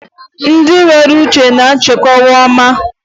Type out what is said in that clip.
Hapụ nkịta ka ọ chụba nchi n'ihi na ọ bụ ọgbọ ya.